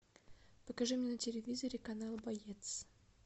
покажи мне на телевизоре канал боец